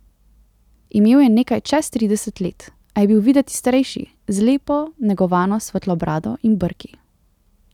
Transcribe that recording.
Imel je nekaj čez trideset let, a je bil videti starejši, z lepo negovano svetlo brado in brki.